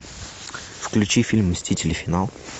включи фильм мстители финал